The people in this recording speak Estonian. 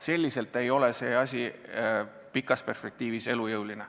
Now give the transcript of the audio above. Selline asi ei ole pikas perspektiivis elujõuline.